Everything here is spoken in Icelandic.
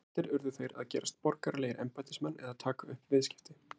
Flestir urðu þeir að gerast borgaralegir embættismenn eða taka upp viðskipti.